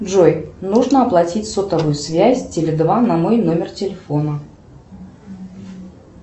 джой нужно оплатить сотовую связь теле два на мой номер телефона